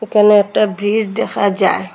একানে একটা ব্রিজ দেখা যায়।